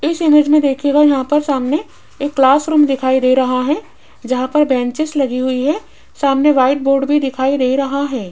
इस इमेज में देखिएगा यहां पर सामने एक क्लास रूम दिखाई दे रहा है जहां पर ब्रेनचेस लगी हुई है सामने व्हाइट बोर्ड भी दिखाई दे रहा है।